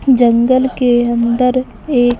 जंगल के अंदर एक --